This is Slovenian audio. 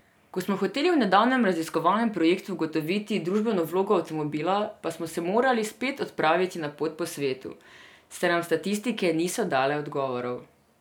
Ko smo hoteli v nedavnem raziskovalnem projektu ugotoviti družbeno vlogo avtomobila, pa smo se morali spet odpraviti na pot po svetu, saj nam statistike niso dale odgovorov.